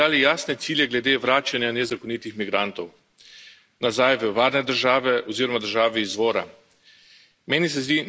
V Evropski uniji smo si zadali jasne cilje glede vračanja nezakonitih migrantov nazaj v varne države oziroma v države izvora.